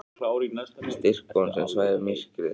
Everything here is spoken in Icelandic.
Styrk von sem svæfir myrkrið.